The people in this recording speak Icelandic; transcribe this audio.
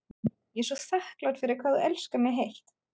Ég er svo þakklát fyrir hvað þú elskar mig heitt.